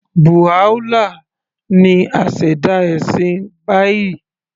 Baha'u'llah ni aṣẹ̀dá ẹ̀sìn Baha'i